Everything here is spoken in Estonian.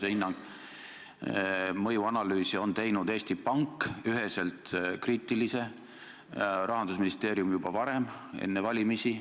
Eesti Pank on teinud üheselt kriitilise mõjuanalüüsi, Rahandusministeerium tegi seda juba varem, enne valimisi.